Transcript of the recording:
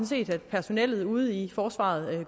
set personellet ude i forsvaret